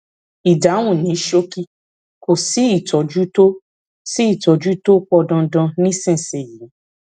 ìdáhùn ní ṣókí kò sí ìtọjú tó sí ìtọjú tó pọn dandan nísinsìnyí